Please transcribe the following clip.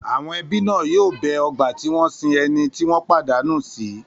Àwọn ẹbí náà yóò bẹ ọgbà tí wọ́n sin ẹni tí wọ́n pàdánù sí.